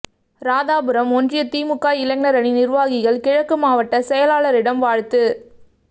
ராதாபுரம் ஒன்றிய திமுக இளைஞரணி நிர்வாகிகள் கிழக்கு மாவட்ட செயலாளரிடம் வாழ்த்து